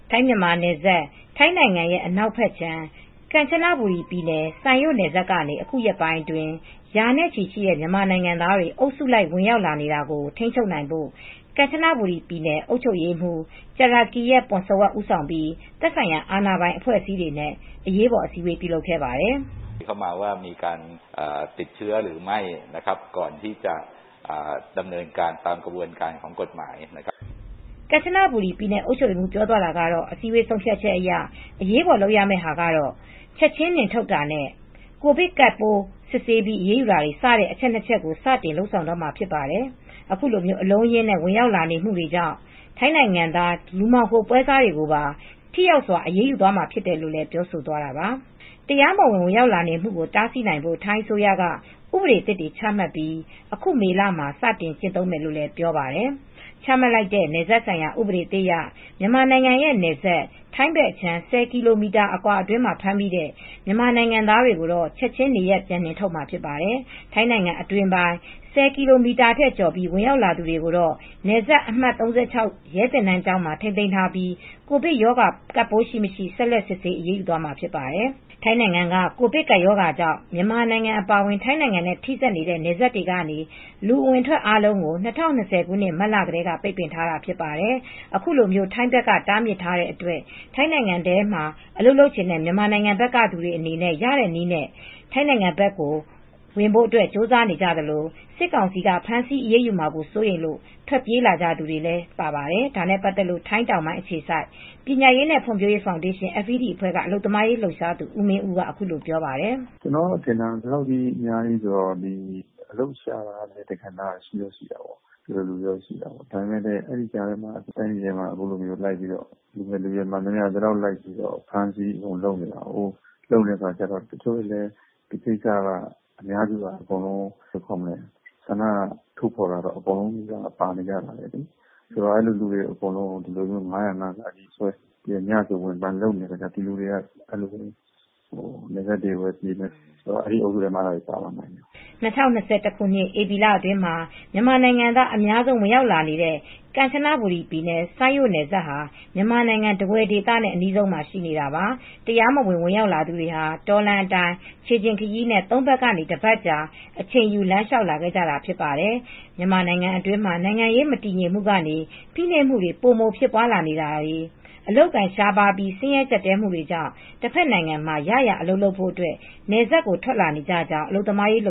ထိုင်းမြန်မာနယ်စပ် ထိုင်းနိုင်ငံရဲ့ အနောက်ဖက်ခြမ်း Kanchanaburi ကမ်ချနာဘူရီ ပြည်နယ် စိုင်ရို့နယ်စပ်ကနေ အခုရက်ပိုင်းအတွင်း ရာနဲချီတဲ့ မြန်မာနိုင်ငံသားတွေ အုပ်စုလိုက် ဝင်ရောက်လာနေတာကို ထိမ်းချုပ်နိုင်ဖို့ ကမ်ချနဘူရီ ပြည်နယ် အုပ်ချုပ်ရေးမှုူ Jirakiat Poomsawat ကျရကိရက် ပွန်စဝပ် ဦးဆောင်ပြီး သက်ဆိုင်ရာ အာဏာပိုင်အဖွဲ့အစည်းတွေနဲ့ အရေးပေါ်အစည်းဝေးပြုလုပ်ခဲ့ပါတယ် ကမ်ချနဘူရီပြည်နယ်အုပ်ချုပ်ရေးမှူး ပြောသွားတာကတော့ အစည်းအဝေး ဆုံးဖြတ်ချက်အရ အရေးပါ်လုပ်ရမယ့်ဟာကတော့ ချက်ချင်း နှင်ထုတ်တာ နဲ့ကိုဗစ်ကပ်ပိုးစစ်ဆေးပြီး အရေးယူတာတွေစတဲ့အချက်နှစ်ချက်ကို စတင်လုပ်ဆောင်တော့မှာဖြစ်ပါတယ် ခုလို အလုံးအရင်းနဲ့ ဝင်ရာက်လာနေမှုမှာ ထိုင်းနိုင်ငံသား လူမှောင်ခို ပွဲစားတွေကိုပါ ထိရောက်စွာအရေးယူသွားမှာဖြစ်တယ်လို့ ပြောဆိုသွားတာပါ။ တရားမဝင် ဝင်ရောက်လာနေမှုကို တားဆီးနိုင်ဖို့ ထိုင်းအစိုးရက ဥပဒေသစ်တွေချမှတ်ပြီး အခုမေလမှာ စတင်ကျင့်သုံးမယ်လို့ ပြောပါတယ်။ ချမှတ်လိုက်တဲ့ နယ်စပ်ဆိုင်ရာ ဥပဒေသစ်အရ မြန်မာနိုင်ငံနဲ့နယ်စပ် ထိုင်းဖက်အခြမ်း ၁၀ ကီလိုမီတာ အတွင်းမှာ ဖမ်းမိတဲ့ မြန်မာနိုင်ငံသားတွေကို ချက်ချင်းနေရပ် ပြန်နှင်သွားမှာဖြစ်ပါတယ်။ ထိုင်းနိုင်ငံ အတွင်းပိုင်း ၁၀ ကီလိုမီတာထက် ကျော်ပြီးဝင်ရောက်လာတဲ့ သူတွေကိုတော့ နယ်စပ်အမှတ် ၃၆ ရဲသင်တန်းကျောင်းမှာ ထိမ်းသိမ်းထားပြီးကိုဗစ် ရောဂါကပ် ပိုးရှိမရှိ ဆက်လက် စစ်ဆးပြီး အရးယူ သွားမှာဖြစ်ပါတယ်။ ထိုင်းနိုင်ငံက ကိုဗစ်ကပ်ရောဂါကြောင့် မြန်မာနိုင်ငံအပါအဝင် ထိုင်းနိုင်ငံနဲ့ ထိဆက်နေတဲ့ နယ်စပ်တွေကနေ လူအဝင်အထွက်အားလုံးကို ၂၀၂၀ မတ်လထဲက ပိတ်ပင်ထားတာဖြစ်ပါတယ်။ ခုလို ထိုင်းဖက်က တားမြစ်ထားတဲ့အတွက် ထိုင်းနိုင်ငံထဲမှာ အလုပ်လုပ်ချင်တဲ့ မြန်မာနိုင်ငံဖက်က သူတွေရတဲ့နည်းနဲ့ ထိုင်းနိုင်ငံဖက် ဝင်ဖို့ကြိုးစားနေကြသလို၊ စစ်ကောင်စီက ဖမ်းဆီးအရေးယူမှာ စိုးရိမ်လို့ ထွက်ပြေးလာကြသူတွေလည်း ပါပါတယ်။ ဒါနဲ့ပါတ်သက်လို့ ထိုင်းတောင်ပိုင်း အခြေစိုက်ပညာရေးနဲ့ဖွံဖြိုးရေးဖောင်ဒေးရှင်း FED အဖွဲက အလုပ်သမားရေးလှုပ်ရှားသူဦးမင်ဦးက ခုလိုပြောပါတယ်။ "ကျနော်ကထင်တာ ဒီလောက်အများကြီးဆိုတော့ အလုပ်ရှာတာကလည်း တကဏ္ဍဒီလိုမျိုးတွေရှိတာပေါ့။ ဒါပေမယ့်လည်း တိုင်းပြည်ထဲမှာ လူငယ်လူရွယ်တွေမှန်သမျှလိုက်ဖမ်းဆီးတာတွေလုပ်နေတာပေါ့။ တချို့လည်းအများစုကဆန္ဒထုတ်ဖော်တာတော့အကုန်လုံးပါနေကြတာပဲ ။ အဲဒီလူတွေကို၅၀၅နဲ့ အကုန်ဝင်ဆွဲနေတာ ညဆိုအကုန်ဝင်ဖမ်းနေတော့ ဒီလူတွေကနယ်စပ်တွေပဲ ပြေးရတာပေါ့ အဲဒီတော့ အဲဒီအုပ်စုတွေထဲမှာအဲဒါတွေလည်းပါလာမှာပေါ့ " ၂၀၂၁ ဧပြီလ အတွင်းမှာ မြန်မာနိုင်ငံသားအများဆုံးဝင်ရောက်လာနေတဲ့ ကမ်ချနဘူရီ ပြည်နယ် စိုင်ရို့နယ်စပ်ဟာ မြန်မာနိုင်ငံ ထားဝယ်ဒသ နဲ့ အနီးဆုံးမှာ ရှိနေတာပါ။ တရားမဝင် ဝင်ရောက်လာသူတွေဟာ တောလမ်းအတိုင်း ခြေလျှင်ခရီးနဲ့ သုံးရက်ကနေ တပါတ်ကြာအချိန်ယူ လမ်းလျှာက်လာခဲ့ကြတာဖြစ်ပါတယ်။ မြန်မာနိုင်ငံအတွင်းမှာ နိုင်ငံရေး မတည်ငြိမ်မှုကနေ ဖိနှိပ်မှုတွေ ပိုမို ဖြစ်ပွားလာနေတာတွေ အလုပ်အကိုင် ရှားပါးပြီး ဆင်းရဲကြပ်တည်းမှုတွေကြောင့် တဖက်နိုင်ငံမှာ ရရာအလုပ်လုပ်ဖို့ နယ်စပ်ကိုထွက်လာနေကြကြောင်းအလုပ်သမားရေးလှ